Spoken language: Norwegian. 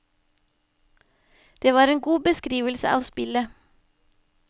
Det var en god beskrivelse av spillet.